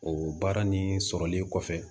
O baara ni sɔrɔli kɔfɛ